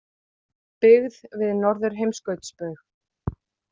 Byggð við Norðurheimskautsbaug.